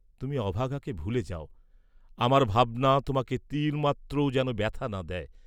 তুমি অভাগাকে ভুলে যাও, আমার ভাবনা তোমাকে তিলমাত্রও যেন ব্যথা না দেয়।